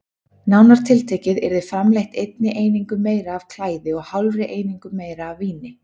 Nánar tiltekið yrði framleitt einni einingu meira af klæði og hálfri einingu meira af víni.